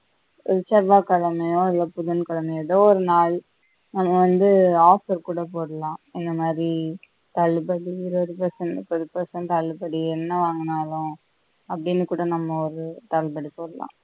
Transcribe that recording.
செவ்வாய்கிழமையோ இல்ல புதன்கிழமையோ எதோ ஒரு நாள் அது வந்து offer கூட போடலாம் எந்த மாதி தள்ளுபடி இருவது percent ல ஒரு percent தள்ளுபடி என்ன வாங்கினாலும் அப்பிடின்னு கூட நம்ம ஒரு தள்ளுபடி போடலாம்